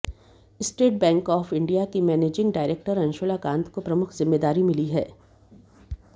state bank of India की managing director Anshula Kant को प्रमुख जिम्मेदारी मिली है